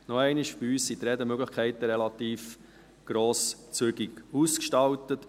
Nochmals: Bei uns sind die Redemöglichkeiten relativ grosszügig ausgestaltet.